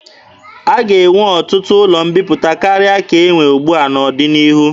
A ga-enwe ọtụtụ ụlọ mbiputa karịa ka e nwe ugbua n'ọdịnihu.